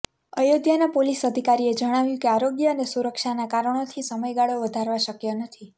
અયોધ્યાના police અધિકારીએ જણાવ્યું કે આરોગ્ય અને સુરક્ષાના કારણોથી સમયગાળો વધારવો શક્ય નથી